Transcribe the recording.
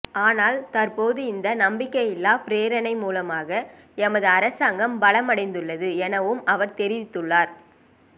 ஆனால் தற்போது இந்த நம்பிக்கையில்லா பிரேரணை மூலமாக எமது அரசாங்கம் பலமடைந்துள்ளது எனவும் அவர் தெரிவித்துள்ளார்